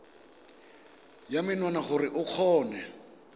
ya menwana gore o kgone